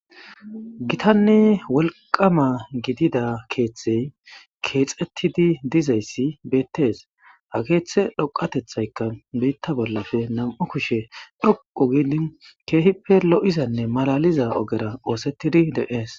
Gitanni wolqama gidida keeththey keexettidi dizayssi beettees ha keeththe dhoqatethaykka biitta bollafe nam'u kushe dhoqu gidin keehippe lo7izanne malaliza ogera oosettidi deees.